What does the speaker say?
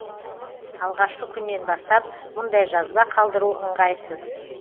алғашқы күннен бастап мұндай жазба қалдыру ыңғайсыз